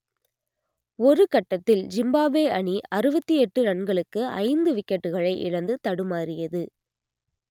ஒரு கட்டத்தில் ஜிம்பாப்வே அணி அறுபத்தி எட்டு ரன்களுக்கு ஐந்து விக்கெட்டுகளை இழந்து தடுமாறியது